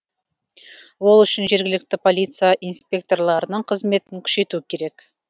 ол үшін жергілікті полиция инспекторларының қызметін күшейту керек